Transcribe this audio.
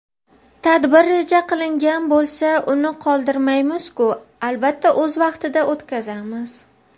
Tadbir reja qilingan bo‘lsa uni qoldirmaymizku albatta o‘z vaqtida o‘tkazamiz.